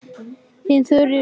Þín Þuríður Rún.